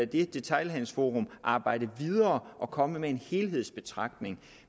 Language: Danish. det detailhandelsforum arbejde videre og komme med en helhedsbetragtning